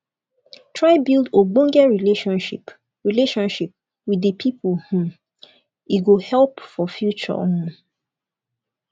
try build ogbonge relationship relationship with di pipo um e go help for future um